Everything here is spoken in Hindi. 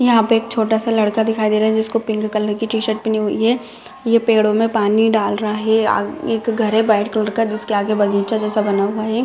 यहाँ पे एक छोटा सा लड़का दिखाई दे रहा है जिसको पिंक कलर की टी-शर्ट पहनी हुई है ये पेड़ो मे पानी डाल रहा है आगे एक घर है व्हाइट कलर का जिसके आगे बगीचा जैसा बना हुआ है ।